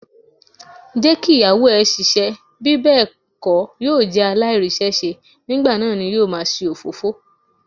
Jẹ́ kí Ìyàwó ẹ ṣiṣẹ́, bí bẹ́ẹ̀ kó yóò jẹ́ aláìríṣẹ́ṣe, nígbà náà ni yóò máa ṣe òfófó.